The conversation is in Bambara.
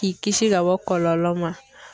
K'i kisi ka bɔ kɔlɔlɔ ma.